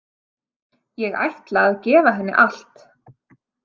Ég ætla að gefa henni allt.